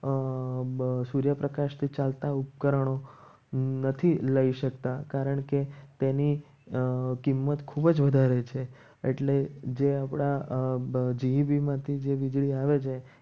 અમ સૂર્યપ્રકાશથી ચાલતા ઉપકરણો નથી લઈ શકતા. કારણ કે તેની કિંમત ખૂબ જ વધારે છે. એટલે જે આપણા GEB માંથી જે વીજળી આવે છે.